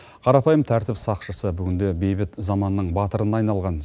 қарапайым тәртіп сақшысы бүгінде бейбіт заманның батырына айналған